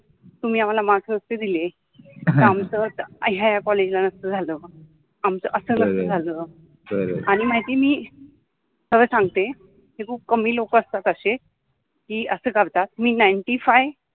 तुम्हि आम्हाला मार्क्स नसते दिले तर आमच ह्या ह्या कॉलेज ला नसत झाल अस नसत झाल. बर, आणि माहिति आहे मि खर संगते कि खुप कमि लोक असतात असे कि अस करतात कि ninety five